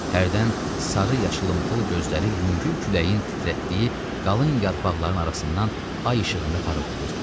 Hərdən sarı-yaşılımtıl gözləri yüngül küləyin titrətdiyi qalın yarpaqların arasından ay işığında parıldayırdı.